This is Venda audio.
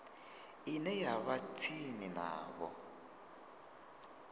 ine ya vha tsini navho